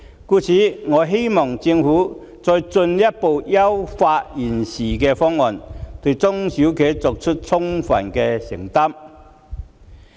故此，我希望政府再進一步優化現時的方案，對中小企作出充分的承擔。